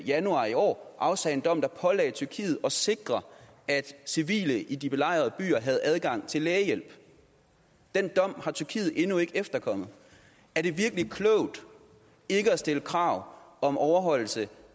januar i år afsagde en dom der pålagde tyrkiet at sikre at civile i de belejrede byer havde adgang til lægehjælp den dom har tyrkiet endnu ikke efterkommet er det virkelig klogt ikke at stille krav om overholdelse